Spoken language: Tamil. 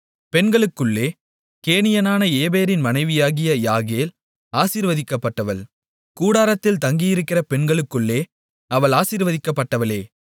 பெண்களுக்குள்ளே கேனியனான ஏபேரின் மனைவியாகிய யாகேல் ஆசீர்வதிக்கப்பட்டவள் கூடாரத்தில் தங்கியிருக்கிற பெண்களுக்குள்ளே அவள் ஆசீர்வதிக்கப்பட்டவளே